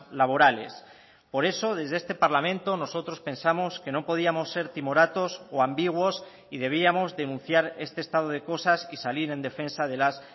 laborales por eso desde este parlamento nosotros pensamos que no podíamos ser timoratos o ambiguos y debíamos denunciar este estado de cosas y salir en defensa de las